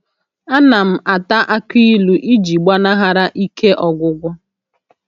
A na m ata aki ilu iji gbanahara ike ọgwụgwụ